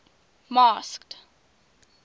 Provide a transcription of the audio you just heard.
masked